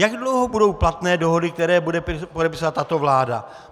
Jak dlouho budou platné dohody, které bude podepisovat tato vláda?